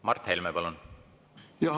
Mart Helme, palun!